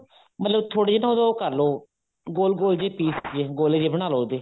ਮਤਲਬ ਥੋੜੇ ਜੇ ਤਾਂ ਉਦੋਂ ਉਹ ਕਰਲੋ ਗੋਲ ਗੋਲ ਜੇ piece ਗੋਲੇ ਜੇ ਬਣਾਲੋ ਉਹਦੇ